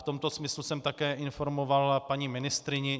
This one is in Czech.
V tomto smyslu jsem také informoval paní ministryni.